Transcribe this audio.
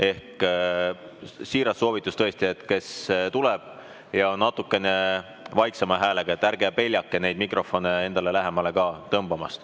Ehk siiras soovitus: kes tuleb siia ja on natukene vaiksema häälega, ärge peljake neid mikrofone endale lähemale tõmmata.